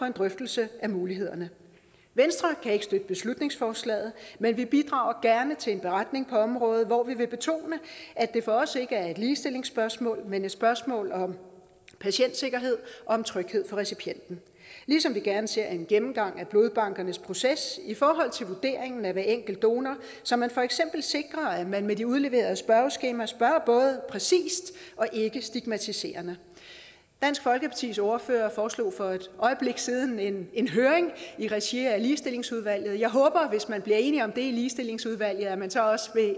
en drøftelse af mulighederne venstre kan ikke støtte beslutningsforslaget men vi bidrager gerne til en beretning på området hvor vi vil betone at det for os ikke er et ligestillingsspørgsmål men et spørgsmål om patientsikkerhed om tryghed for recipienten ligesom vi gerne ser en gennemgang af blodbankernes proces i forhold til vurderingen af hver enkelt donor så man for eksempel sikrer at man med de udleverede spørgeskemaer spørger både præcist og ikkestigmatiserende dansk folkepartis ordfører foreslog for et øjeblik siden en en høring i regi af ligestillingsudvalget og jeg håber hvis man bliver enig om det i ligestillingsudvalget at man så også